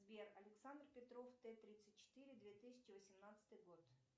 сбер александр петров т тридцать четыре две тысячи восемнадцатый год